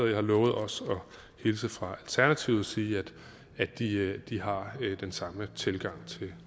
jeg har lovet også at hilse fra alternativet og sige at de de har den samme tilgang